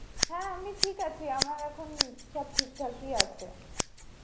হ্যাঁ আমি ঠিক আছি, আমার এখন সব ঠিকঠাকই আছে.